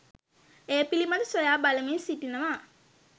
ඒ පිළිබඳ සොයාබලමින් සිටිනවා.